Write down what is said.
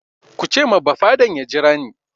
Ku ce ma bafaden ya jira ni!